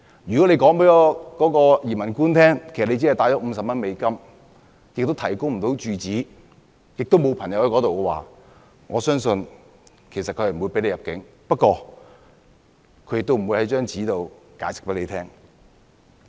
如果他告訴"移民官"，他只攜帶了50美元，亦無法提供住址，當地也沒有朋友的話，我相信他不會獲准入境，但"移民官"也不會提供書面解釋。